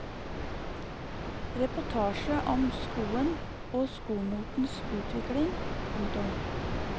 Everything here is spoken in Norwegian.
Reportasje om skoen og skomotens utvikling. punktum